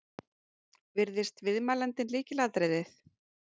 Virðist viðmælandinn lykilatriðið